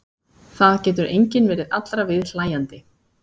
Það getur enginn verið allra viðhlæjandi.